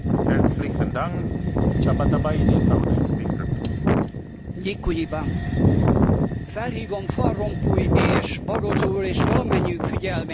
Felhívom van Rompuy és Barroso úr és valamennyiük figyelmét, hogy álságos, sőt önveszejtő nacionalista vita bontakozott ki Magyarországon.